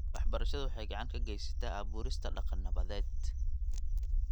Waxbarashadu waxay gacan ka geysataa abuurista dhaqan nabadeed .